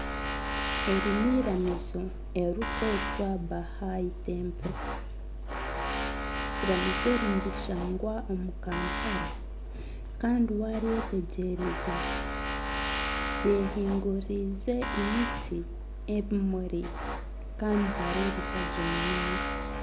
Eri n'eiramiizo eririkwetwa Bahai Temple, eiramiizo eri nirishangwa omuri Kampala kandi waryetegyereza ryehinguririze emiti, ebimuri kandi nihareebeka gye munonga.